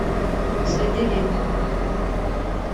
следы ведьм